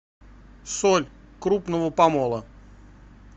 соль крупного помола